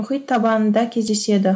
мұхит табанында кездеседі